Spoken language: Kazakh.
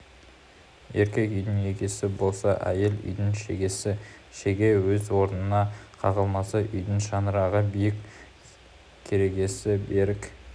еркек үйдің егесі болса әйел үйдің шегесі шеге өз орнына қағылмаса үйдің шаңырағы биік керегесі берік